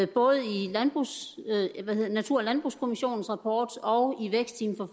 både i natur og landbrugskommissionens rapport og i vækstteamet for